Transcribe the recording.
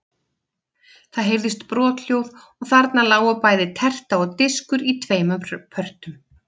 Það heyrðist brothljóð og þarna lágu bæði terta og diskur í tveimur pörtum.